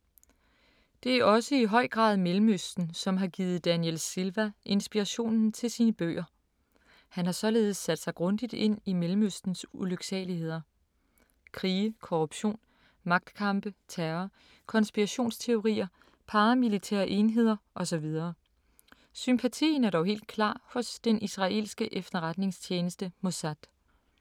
Det er også i høj grad Mellemøsten, som har givet Daniel Silva inspirationen til sine bøger. Han har således sat sig grundigt ind i Mellemøstens ulyksaligheder. Krige, korruption, magtkampe, terror, konspirationsteorier, paramilitære enheder og så videre. Sympatien er dog helt klart hos den israelske efterretningstjeneste Mossad.